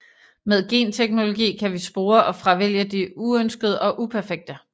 Med genteknologi kan vi spore og fravælge det uønskede og uperfekte